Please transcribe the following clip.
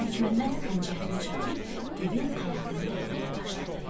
Məlikməmməd xəncərini çəkib divin ayağını dəlməyə başladı.